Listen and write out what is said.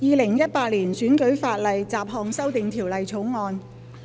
《2018年選舉法例條例草案》。